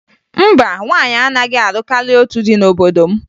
Mba, nwaanyị anaghị alụ karịa otu di n'obodo m